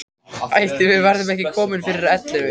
Ætli við verðum ekki komin fyrir ellefu.